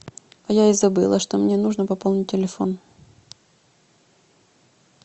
я и забыла что мне нужно пополнить телефон